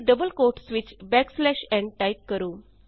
ਅਤੇ double quotes ਵਿਚ backslash n type ਕਰੋ